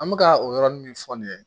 An bɛka o yɔrɔnin min fɔ nin ye